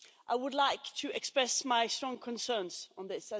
I would like to express my strong concerns on this.